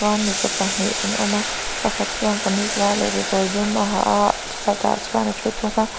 mipa pahnih an awm a pakhat chuan kamis var leh kekawr dum a ha aah chhuatah chuan a thu thung a.